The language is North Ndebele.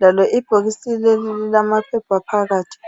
Lalo ibhokisi leli lilamaphepha phakathi.